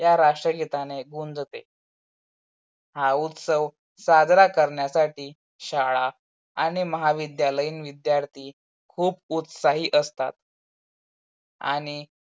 या राष्ट्रगीताने गुंजते. हा उत्सव साजरा करण्यासाठी शाळा आणि महाविद्यालयीन विद्यार्थी खूप उत्साही असतात. आणि